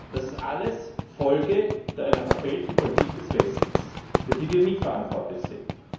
Das ist alles Folge einer verfehlten Politik des Westens für die wir mitverantwortlich sind.